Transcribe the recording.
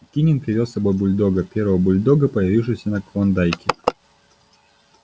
кинен привёз с собой бульдога первого бульдога появившегося на клондайке